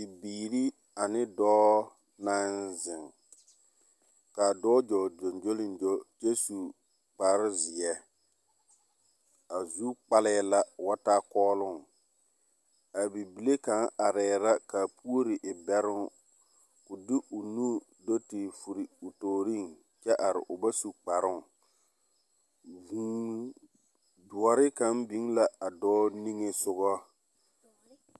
Bibiiri ane dͻͻ naŋ zeŋ. Ka a dͻͻ dͻͻŋ gyoŋgyoliŋgyo kyԑ su kpare-zeԑ. A zu kpalԑԑ la o bat aa kͻͻloŋ. A bibile kaŋa arԑԑ la ka a puori e bԑroŋ koo de o nu do te furi o tooriŋ kyԑ are o bas u kparoŋ. Vũũ dõͻre kaŋ biŋ la a dͻͻ niŋe sogͻ.